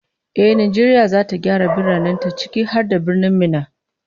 Ehh, Najeriya zata gyara biranen ta, ciki har da Birnin Minna